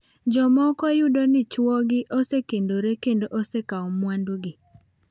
Jomoko yudo ni chwogi osekendore kendo osekawo mwandugi.